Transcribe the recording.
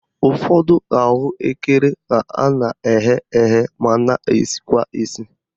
Ụfọdụ ahụekere ka a na-eghe eghe ma na-esikwa esi